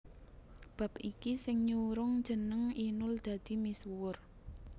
Bab iki sing nyurung jeneng Inul dadi misuwur